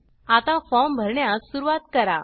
आता फॉर्म भरण्यास सुरुवात करा